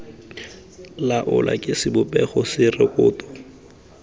laolwa ke sebopego se rekoto